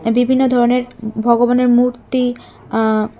বিভিন্ন ধরনের ভগবানের মূর্তি আঃ--